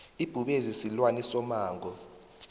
ibhubezi silwane somango